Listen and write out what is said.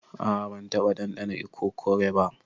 A'a ban taba dandana ikokore ba.